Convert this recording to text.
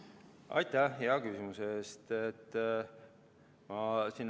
Aitäh hea küsimuse eest!